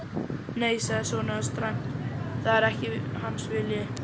Nei, sagði sonur hans dræmt,-það er ekki hans vilji.